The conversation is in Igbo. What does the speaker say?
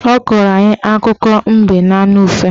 Ọ kọọrọ anyị akụkọ mbe na anụ ufe